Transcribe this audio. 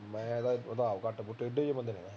ਮੈਂ ਤਾਂ ਆਪ ਘੱਟ ਘੁਟ ਟੇਢੇ ਜਿਹੇ ਬੰਦੇ